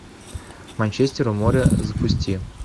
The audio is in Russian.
манчестер у моря запусти